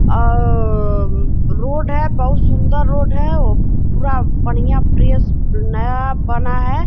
और रोड है | बहुत सुंदर रोड है | अम पूरा बढ़िया फ्रेश नया बना है |